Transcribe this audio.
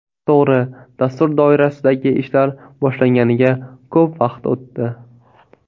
To‘g‘ri, dastur doirasidagi ishlar boshlanganiga ko‘p vaqt o‘tdi.